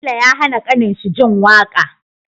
Bello ya hAna kanin shi jin waƙa